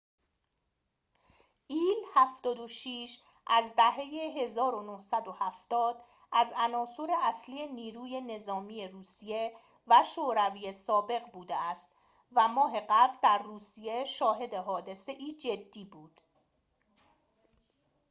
ایل-۷۶ از دهه ۱۹۷۰ از عناصر اصلی نیروی نظامی روسیه و شوروی سابق بوده است و ماه قبل در روسیه شاهد حادثه‌ای جدی بود